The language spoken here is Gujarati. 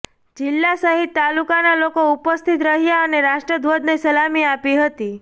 જીલ્લા સહિત તાલુકા ના લોકો ઉપસ્થિત રહ્યાં અને રાષ્ટ્ર ધ્વજ ને સલામી આપી હતી